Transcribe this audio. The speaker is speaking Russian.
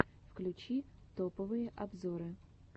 включи топовые обзоры